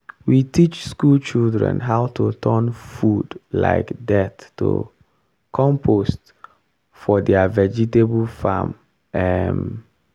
we teach school children how to turn food um dirt to compost for their vegetable farm. um